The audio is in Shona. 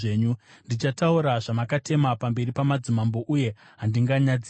Ndichataura zvamakatema pamberi pamadzimambo, uye handinganyadziswi,